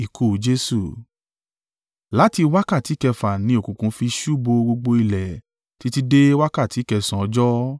Láti wákàtí kẹfà ni òkùnkùn fi ṣú bo gbogbo ilẹ̀ títí dé wákàtí kẹsànán ọjọ́.